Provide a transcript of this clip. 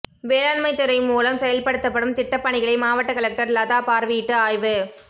வேளாண்மைத்துறை மூலம் செயல்படுத்தப்படும் திட்ட பணிகளை மாவட்ட கலெக்டர் லதா பார்வையிட்டு ஆய்வு